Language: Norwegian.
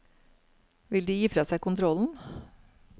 Vil de gi fra seg kontrollen?